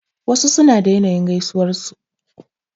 Wasu suna da yanayin gaisuwan su.